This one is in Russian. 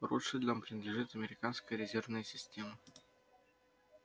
ротшильдам принадлежит американская резервная система